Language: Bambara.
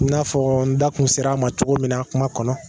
I n'a fɔ n da kun ser'a ma cogo min kuma kɔnɔ.